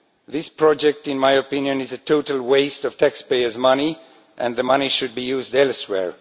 This project, in my opinion, is a total waste of taxpayers' money, and the money should be used elsewhere.